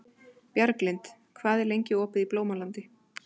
Bjarglind, hvað er lengi opið í Blómalandi?